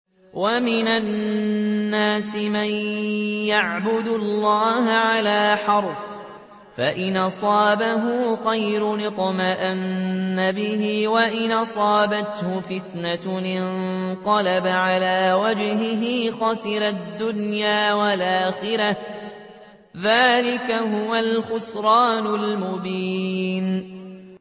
وَمِنَ النَّاسِ مَن يَعْبُدُ اللَّهَ عَلَىٰ حَرْفٍ ۖ فَإِنْ أَصَابَهُ خَيْرٌ اطْمَأَنَّ بِهِ ۖ وَإِنْ أَصَابَتْهُ فِتْنَةٌ انقَلَبَ عَلَىٰ وَجْهِهِ خَسِرَ الدُّنْيَا وَالْآخِرَةَ ۚ ذَٰلِكَ هُوَ الْخُسْرَانُ الْمُبِينُ